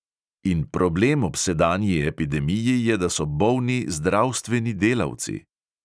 In problem ob sedanji epidemiji je, da so bolni zdravstveni delavci!